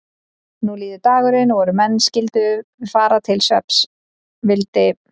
Nú líður dagurinn og er menn skyldu fara til svefns vildi